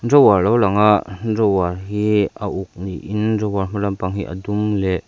drawer lo lang ah drawer hi a uk niin drawer hma lampang hi a dum leh--